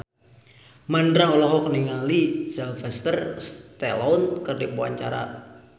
Mandra olohok ningali Sylvester Stallone keur diwawancara